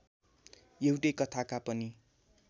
एउटै कथाका पनि